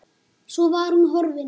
Svo var hún horfin.